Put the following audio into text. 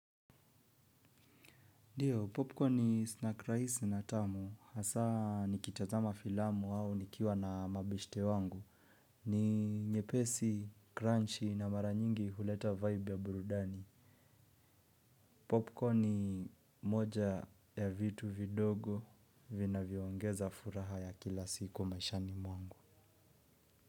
Ndiyo popcorn ni snack raisi na tamu hasa nikitazama filamu au nikiwa na mabeshte wangu. Ni nyepesi, crunchy na mara nyingi huleta vibe ya burudani. Popcorn ni moja ya vitu vidogo vinavyongeza furaha ya kila siku maishani mwangu.